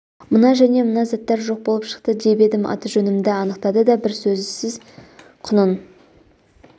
мына және мына заттар жоқ болып шықты деп едім аты-жөнімді анықтады да бір сөзсіз құнын